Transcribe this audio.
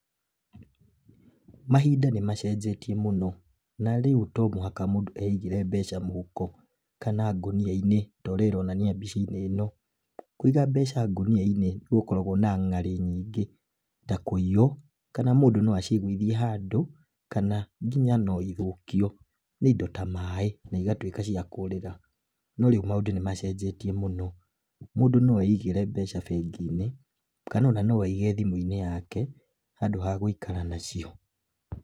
Mahinda nĩ macenjegia, na rĩu to mũhaka mũndũ eigĩre mbeca mũhuko kana ngũnia-inĩ torĩa ĩronania mbica-inĩ ĩno. Kũiga mbeca ngũnia-inĩ nĩ gũkoragwo na ng'ari nyingĩ ta, kũiywo, kana mũndũ no acigũithie handũ, kana nginya no ithũkio nĩ indo ta maaĩ na igatuĩka cia kũrĩra. No rĩu maũndũ nĩ macenjetie mũno, mũndũ no eigĩre mbeca bengi-inĩ kana o na no aigee thimũ-inĩ yake handũ ha gũikara na cio.